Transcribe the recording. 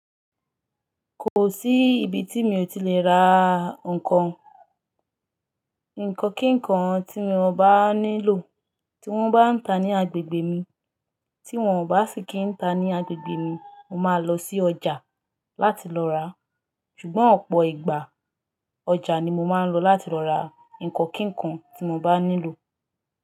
Kò sí ibi tí mi ò ti lè ra nǹkan. Nǹkan ki nnkan tí mo bá nílò tí wón bá ń ta ní agbègbè mi, tí wón o bá sì kín ń ta ní agbègbè mi, mo máa lọ sí ọjà láti lọ rà. Ṣùgbọ́n ọ̀pọ̀ ìgbà ọjà ni mo máa ń lọ láti lọ ra ǹkan kí nkan tí mo bá nílò.